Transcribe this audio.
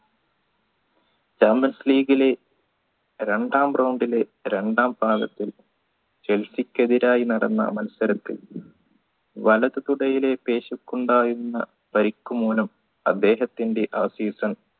champions league ലെ രണ്ടാം round ലെ രണ്ടാം ഭാഗത്തിൽ ചെൽസിക്കെതിരായി നടന്ന മത്സരത്തിൽ വലത് തുടയിലെ പേശി കൊണ്ടായിരുന്ന പരിക്കു മൂലം അദ്ദേഹത്തിൻറെ ആ season